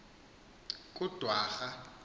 kudwarha